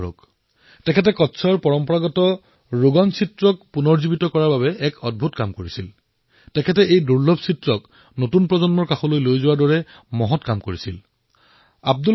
ইয়াত আমি সেইসমূহ লোকক সন্মান কৰিব লাগে যি তৃণমূল পৰ্যায়ত নিজৰ কাম নিষ্ঠাৰে কৰে নিজৰ পৰিশ্ৰমৰ বলত বিভিন্ন প্ৰকাৰে যি আনৰ জীৱনলৈ ধনাত্মক পৰিৱৰ্তন আনিব পাৰে